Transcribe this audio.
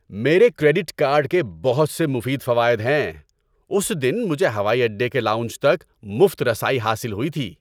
میرے credit card کے بہت سے مفید فوائد ہیں۔ اُس دن مجھے ہوائی اڈے کے لاؤنج تک مفت رسائی حاصل ہوئی تھی۔